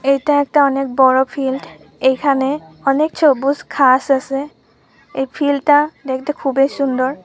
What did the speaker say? এইটা একটা অনেক বড় ফিল্ড । এইখানে অনেক সবুজ ঘাস আসে। এই ফিল্ড -টা দেখতে খুবই সুন্দর।